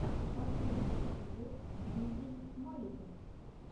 последний эпизод дмитрий маликов